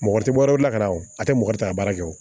Mɔgɔ tɛ bɔ yɔrɔ bila ka na o a tɛ mɔgɔ ta a baara kɛ o